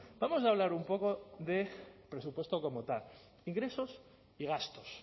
vamos a hablar un poco de presupuesto como tal ingresos y gastos